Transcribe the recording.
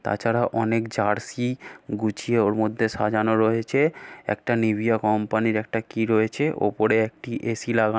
তাছাড়া অনেক জার্সি গুছিয়ে ওর মধ্যে সাজানো রয়েছে একটা নিভিয়া কোম্পানি র একটা কি রয়েছে ওপরে একটি এ.সি লাগা --